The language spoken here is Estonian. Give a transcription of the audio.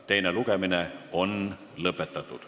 Teine lugemine on lõpetatud.